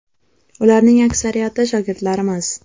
Ularning aksariyati shogirdlarimiz.